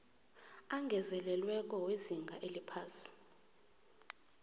angezelelweko wezinga eliphasi